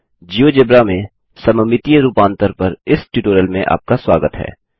GeoGebra में सममितीय रूपांतर पर इस ट्यूटोरियल में आपका स्वागत है